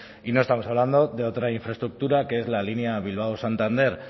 y no estamos hablando de otra infraestructura que es la línea bilbao santander